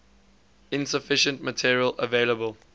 insufficient material available